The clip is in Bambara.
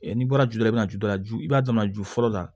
n'i bɔra juru la i bɛna juru ju i b'a dɔn ju fɔlɔ la